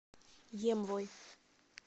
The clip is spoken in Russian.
емвой